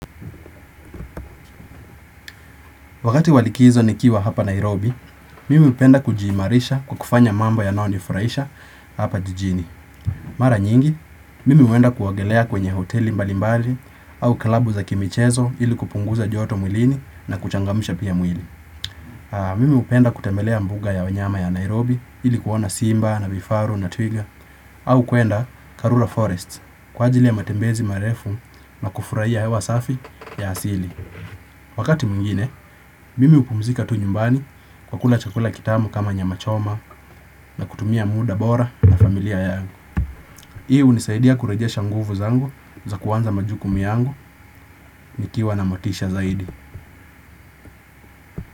Wakati wa likizo nikiwa hapa Nairobi, mimi hupenda kujiimarisha kwa kufanya mambo yanaonifuraisha hapa jijini. Mara nyingi, mimi uenda kuogelea kwenye hoteli mbalimbali au klabu za kimichezo ili kupunguza joto mwilini na kuchangamisha pia mwili. Mimi hupenda kutemelea mbuga ya wanyama ya Nairobi ili kuona simba na vifaru na twiga au kuenda Karura Forest kwa ajili ya matembezi marefu na kufuraia hewa safi ya asili. Wakati mwingine, mimi hupumzika tu nyumbani kwa kula chakula kitamu kama nyama choma na kutumia muda bora na familia yangu. Hii hunisaidia kurejesha nguvu zangu za kuanza majukumu yangu nikiwa na motisha zaidi.